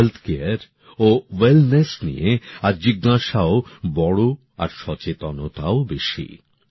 স্বাস্থ্যপরিষেবা ও সুস্থতা নিয়ে আজ প্রশ্ন আর সচেতনতাও বেশি